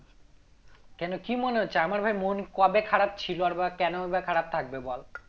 কেন কি মনে হচ্ছে আমার ভাই মন কবে খারাপ ছিল আর বা কেনই বা খারাপ থাকবে বল